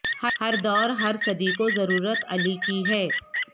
ہر دور ہر صدی کو ضرورت علی کی ہے